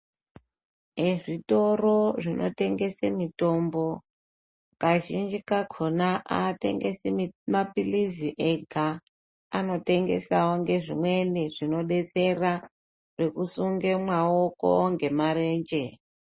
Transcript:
Ezvitoro zvinotengese mitombo Kazhinji kacho atengesi maphilizi ega anotengesawo ngezvimweni zvinodetsera zvekusunge maoko ngemarenje.